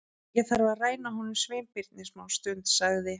Ég þarf að ræna honum Sveinbirni smástund- sagði